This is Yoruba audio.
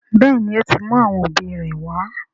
béèni, ó ti mú àwọn òbí rẹ̀ wá.